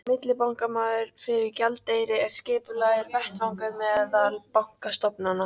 Millibankamarkaður fyrir gjaldeyri er skipulagður vettvangur meðal bankastofnana.